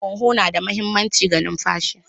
Huhu na da mahimmanci ga numfashi.